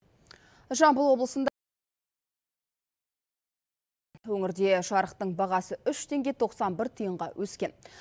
жамбыл облысында өңірде жарықтың бағасы үш теңге тоқсан бір тиынға өскен